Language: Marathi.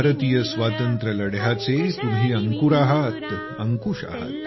भारतीय स्वातंत्र्यलढ्याचे तुम्ही अंकुर आहात अंकुश आहात